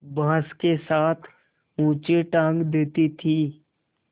बाँस के साथ ऊँचे टाँग देती थी